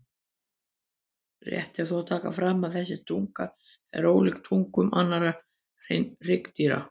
Rétt er þó að taka fram að þessi tunga er ólíkt tungum annarra hryggdýra.